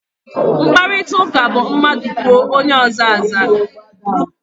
Mkparịtaụka bụ mmadụ kwuo, onye ọzọ aza.